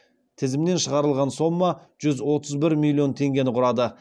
тізімнен шығарылған сома жүз отыз бір миллион теңгені құрады